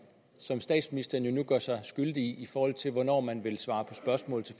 som statsministeren jo nu gør sig skyldig i i forhold til hvornår man vil svare på spørgsmål